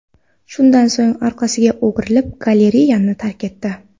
Shundan so‘ng orqasiga o‘girilib, galereyani tark etdi.